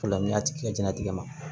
O la n'i y'a tigi jɛnatigɛ ma